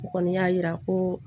O kɔni y'a yira ko